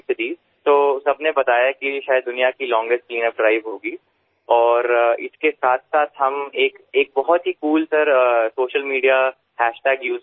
તો બધાએ કહ્યું કે કદાચ તે દુનિયાની સૌથી લાંબી સ્વચ્છતા ઝુંબેશ હશે અને તેની સાથોસાથ આપણે એક બહુ જ કૂલ સાહેબ સૉશિયલ મિડિયા હૅશટેગ વાપર્યો છે